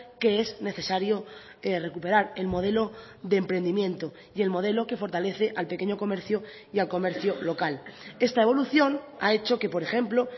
que es necesario recuperar el modelo de emprendimiento y el modelo que fortalece al pequeño comercio y al comercio local esta evolución ha hecho que por ejemplo